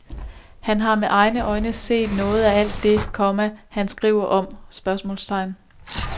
Har han med egne øjne set noget af alt det, komma han skriver om? spørgsmålstegn